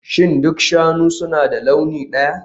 Shin duk shanu suna da launi ɗaya?